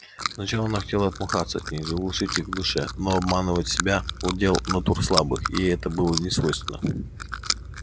сначала она хотела отмахнуться от них заглушить их в душе но обманывать себя удел натур слабых и ей это было несвойственно